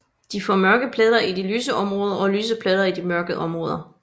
De får mørke pletter i de lyse områder og lyse pletter i de mørke områder